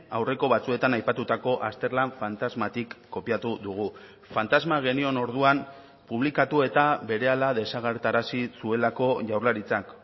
aurreko batzuetan aipatutako azterlan fantasmatik kopiatu dugu fantasma genion orduan publikatu eta berehala desagertarazi zuelako jaurlaritzak